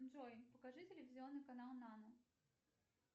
джой покажи телевизионный канал нано